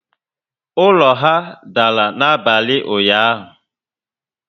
Ụlọ ha dàrà n'abalị ụnyaahụ